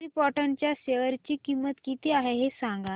krypton च्या share ची किंमत किती आहे हे सांगा